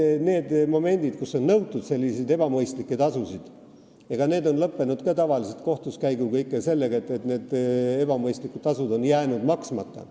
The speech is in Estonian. Eks need momendid, kus on nõutud selliseid ebamõistlikke tasusid, on lõppenud ka tavaliselt kohtuskäiguga ja ikka sellega, et tasud on jäänud maksmata.